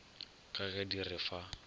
ka ge di re fa